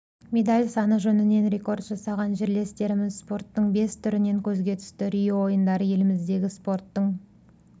медаль саны жөнінен рекорд жасаған жерлестеріміз спорттың бес түрінен көзге түсті рио ойындары еліміздегі спорттың